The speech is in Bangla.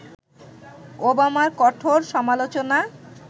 ওবামার কঠোর সমালোচনা